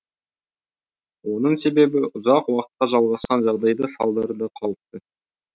оның себебі ұзақ уақытқа жалғасқан жағдайда салдары да қауіпті